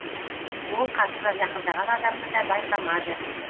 ол қасына жақындаған адамды да байқамады